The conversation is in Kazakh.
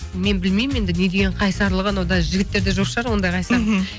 мен білмеймін енді не деген қайсарлық анау даже жігіттерде жоқ шығар ондай қайсарлық